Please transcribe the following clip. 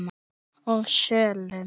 og sölum.